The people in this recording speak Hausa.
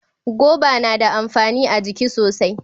Goba na da amfani a jiki sosai.